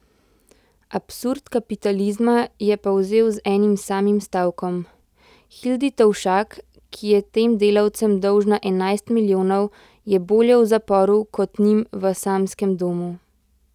Absurd kapitalizma je povzel z enim samim stavkom: 'Hildi Tovšak, ki je tem delavcem dolžna enajst milijonov, je bolje v zaporu kot njim v samskem domu.